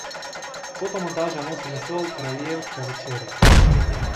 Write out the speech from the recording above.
Fotomontaža nosi naslov Kraljevska večerja.